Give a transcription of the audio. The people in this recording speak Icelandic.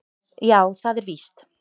Já, það er víst